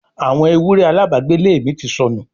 àwọn ewúrẹ́ alábàágbélé mi ti sọnù